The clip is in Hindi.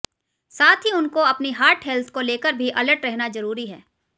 साथ ही उनको अपनी हार्ट हेल्थ को लेकर भी अलर्ट रहना जरूरी है